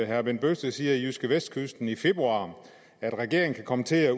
herre bent bøgsted siger i jydskevestkysten i februar at regeringen kan komme til at